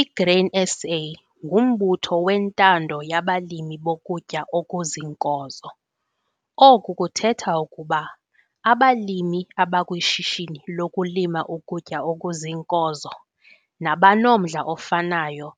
I-Grain SA ngumbutho wentando yabalimi bokutya okuziinkozo. Oku kuthetha ukuba abalimi abakwishishini lokulima ukutya okuziinkozo nabanomdla ofanayo,